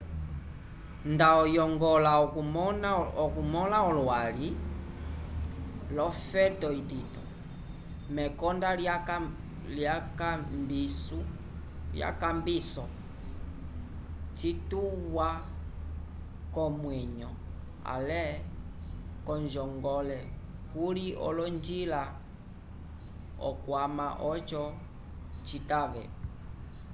nda oyongola okumõla olwali l'ofeto itito mekonda lyekambiso cituwa comwenyo ale onjongole kuli olonjila okwama oco citave